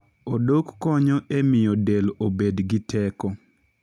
Odok konyo e miyo del obed gi teko.